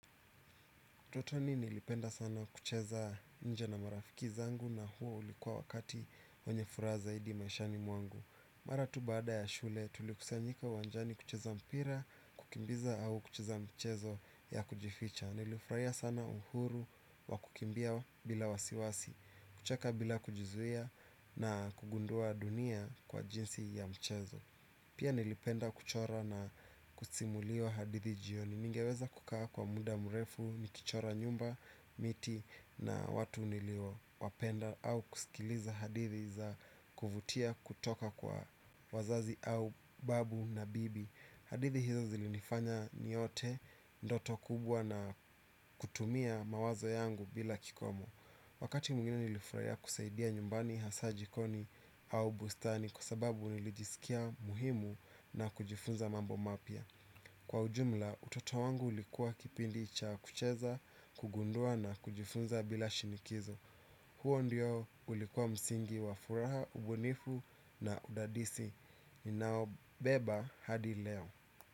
Utotoni nilipenda sana kucheza nje na marafiki zangu na huo ulikuwa wakati wenye furaha zaidi maishani mwangu. Maratu baada ya shule tulikusanyika uwanjani kucheza mpira, kukimbiza au kucheza mchezo ya kujificha. Nilifurahia sana uhuru wa kukimbia bila wasiwasi, kucheka bila kujizuia na kugundua dunia kwa jinsi ya mchezo. Pia nilipenda kuchora na kusimuliwa hadithi jioni. Ningeweza kukaa kwa muda mrefu, nikichora nyumba, miti na watu niliyowapenda au kusikiliza hadithi za kuvutia kutoka kwa wazazi au babu na bibi. Hadithi hizo zilinifanya niote ndoto kubwa na kutumia mawazo yangu bila kikomo. Wakati mwingine nilifurahia kusaidia nyumbani hasa jikoni au bustani kwa sababu nilijisikia muhimu na kujifunza mambo mapya. Kwa ujumla utoto wangu ulikuwa kipindi cha kucheza kugundua na kujifunza bila shinikizo. Huo ndio ulikuwa msingi wa furaha ubunifu na udadisi ninaobeba hadi leo.